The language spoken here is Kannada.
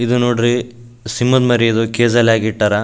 ಇದು ನೋಡ್ರಿ ಸಿಂಹದ್ ಮರಿ ಇದು ಕೇಜ್ ಅಲ್ಲಿ ಹಾಕಿಟ್ಟರ --